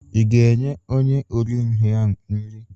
Ị ga-enye onye ori nri ahụ nri?